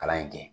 Kalan in kɛ